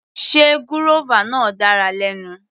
Sé gúrọ́fà náà dára lẹ́nu.